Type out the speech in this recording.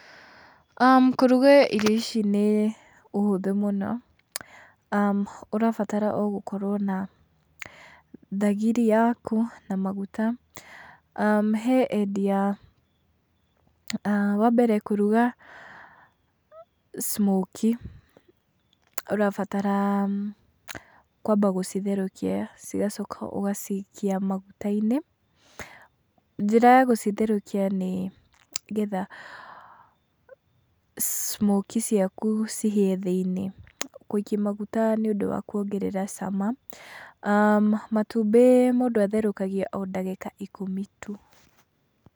Kũruga irio ici nĩ ũhũthũ mũno, ũrabatara o gũkorwo na thagiri yaku na maguta. He endia, wa mbere kũruga smokie ũrabatara kwamba gũcitherũkia cigacoka ũgacikia maguta-inĩ. Njĩra ya gũcitherũkia nĩ getha smokie ciaku cihĩe thĩi-niĩ, gũikia maguta nĩ ũndũ wa kuongerera cama. Matumbĩ mũndũ atherũkagia o ndagĩka ikũmi tu.